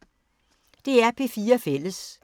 DR P4 Fælles